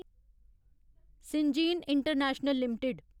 Syngene international limited